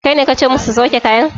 Kaine kace musu su sauke kayan?